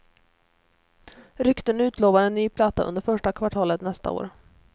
Rykten utlovar en ny platta under första kvartalet nästa år.